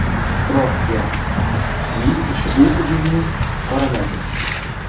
Rossiya TIV ushbu hujumni qoraladi.